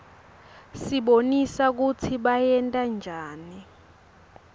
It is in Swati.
basibonisa kutsi bayentanjani